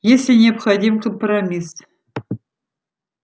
если необходим компромисс